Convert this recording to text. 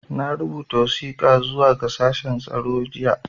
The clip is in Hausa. Na rubuta wasiƙa zuwa ga shashen tsaro jiya.